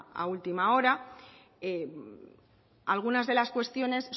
a última hora algunas de las cuestiones